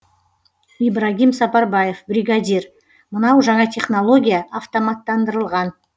ибрагим сапарбаев бригадир мынау жаңа технология автоматтандырылған